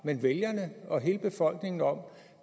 men vælgerne og hele befolkningen om